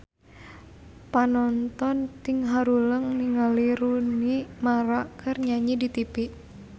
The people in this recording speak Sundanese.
Panonton ting haruleng ningali Rooney Mara keur nyanyi di tipi